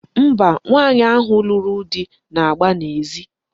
Mba, nwaanyị ahụ lụrụ di na-agba n'ezi.